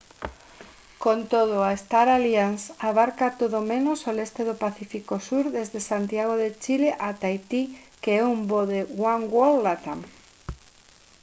con todo a star alliance abarca todo menos o leste do pacífico sur desde santiago de chile a tahití que é un voo de oneworld latam